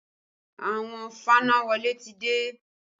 Àwọn fanáwọlé ti dé